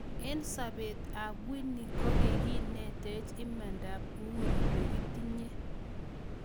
EN sopet ap Winnie kogiinetech imandap uhuru negitinye.